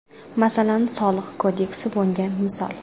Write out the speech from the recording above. Masalan, Soliq kodeksi bunga misol.